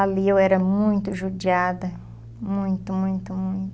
Ali eu era muito judiada, muito, muito, muito.